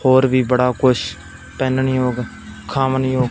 और भी बड़ा कुछ पेन नहीं होगा खाम नहीं हो--